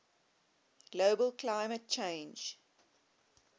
global climate change